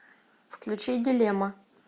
включи дилемма